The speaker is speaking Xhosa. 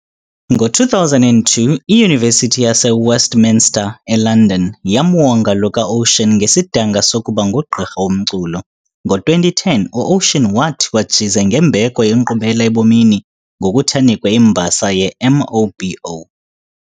Ngo2002, iUniversity yase Westminster, eLondon, yamwonga lo kaOcean ngesidanga sokuba ngugqirha womculo. Ngo2010, uOcean wathiwa jize ngembeko yeNkqubela eBomini ngokuthi anikwe imbasa yeMOBO.